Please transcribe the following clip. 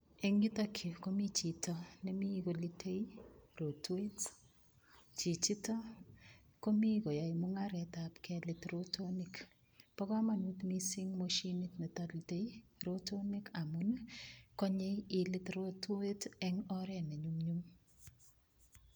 Eng yutok yu komi chito nemi kolitei rotwet. Chichito komi koyoe mungaretab kelit rotonik. Bo kamanut mising moshinit nitolitei rotonik amun konyei ilit rotwet eng oret ne nyumnyum.